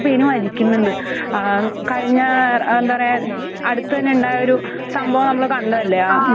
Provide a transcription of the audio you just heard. മരിക്കുന്നുണ്ട്. ആഹ് കഴിഞ്ഞ ആഹ് എന്താ പറയാ അടുത്തന്നെ ഉണ്ടായൊരു സംഭവം നമ്മള് കണ്ടതല്ലേ?